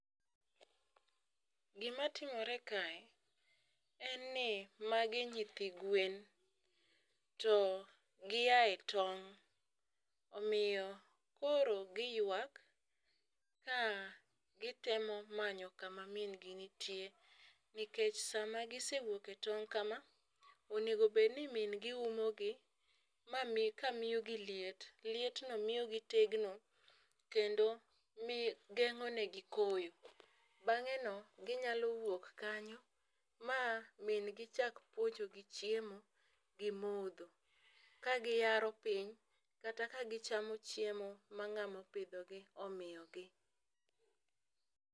Gimatimore kae en ni magi nyithi gwen to giyaye tong' omiyo, koro giywak ka gitemo manyo kama min gi ntie. Nikech sama gisewuok e tong' kama onego bed ni min gi umo gi ma mi ka miyo gi liet liet no miyo gi tegno kendo mi geng'o ne gi koyo. Bange' no ginyalo wuok kanyo ma min gi chak puonjo gi chiemo gi modho ka giyaro piny kata ka gichamo chiemo ma ng'amo pidho gi omiyo gi.